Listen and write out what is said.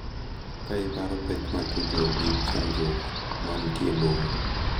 Ka iparo pek ma tudruok gi chandruok ma nitie e boma,